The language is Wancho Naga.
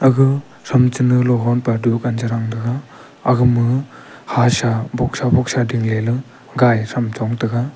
aga som chunu hopa dunkan chaya ga ma hasem ma boxsa boxsa ding ley gati sum chotaga.